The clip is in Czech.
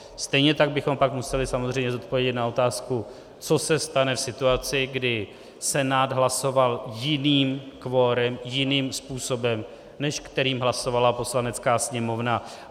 Stejně tak bychom pak museli samozřejmě zodpovědět na otázku, co se stane v situaci, kdy Senát hlasoval jiným kvorem, jiným způsobem, než kterým hlasovala Poslanecká sněmovna.